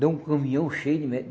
Deu um caminhão cheio de.